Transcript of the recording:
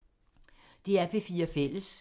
DR P4 Fælles